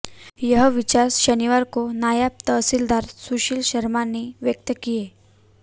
यह विचार शनिवार को नायब तहसीलदार सुशील शर्मा ने व्यक्त किए